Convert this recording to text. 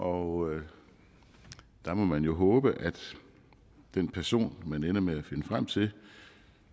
og der må man jo håbe at den person man ender med at finde frem til